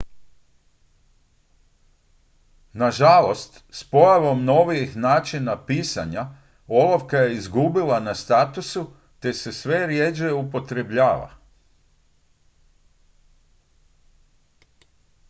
nažalost s pojavom novijih načina pisanja olovka je izgubila na statusu te se sve rjeđe upotrebljava